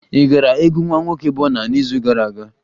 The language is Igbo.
Ị gara egwu nwa nwoke Burna n'izu gara aga?